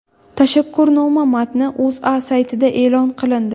Tashakkurnoma matni O‘zA saytida e’lon qilindi .